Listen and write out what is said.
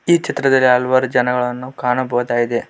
ಈ ಚಿತ್ರದಲ್ಲಿ ಹಲವಾರು ಜನಗಳನ್ನು ಕಾಣಬಹುದಾಗಿದೆ.